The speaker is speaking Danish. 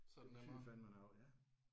Det betyder fandeme noget ja